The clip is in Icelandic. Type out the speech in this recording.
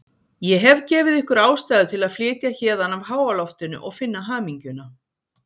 Ég hef gefið ykkur ástæðu til að flytja héðan af háaloftinu og finna hamingjuna.